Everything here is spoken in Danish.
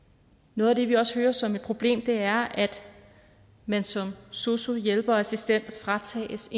noget af det vi også hører som værende et problem er at man som sosu hjælper og assistent fratages